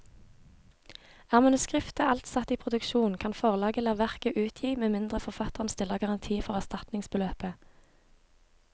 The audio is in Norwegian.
Er manuskriptet alt satt i produksjon, kan forlaget la verket utgi med mindre forfatteren stiller garanti for erstatningsbeløpet.